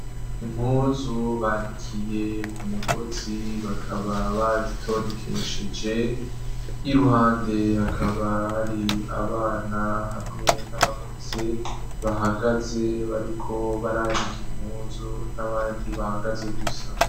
Impuzu bandikiye ku mugozi bakaba bazitondekesheje y'iruhande hakaba hari abana hamwe n'abakuze bahagaze bariko barandikiye impuzu n'abandi bahagaze gusa.